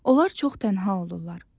Onlar çox tənha olurlar.